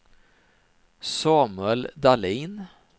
Samuel Dahlin